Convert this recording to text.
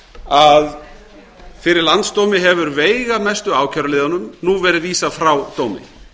að fyrir landsdómi hefur veigamestu ákæruliðunum nú verið vísað frá dómi